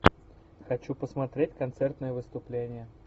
хочу посмотреть концертное выступление